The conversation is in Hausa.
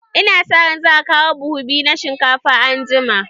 Ina sa ran za a kawo buhu biyu na shinkafa anjima.